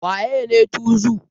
Wa yene tuzu?